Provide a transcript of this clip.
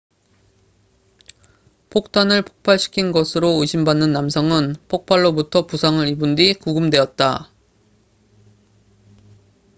폭탄을 폭발시킨 것으로 의심받는 남성은 폭발로부터 부상을 입은 뒤 구금되었다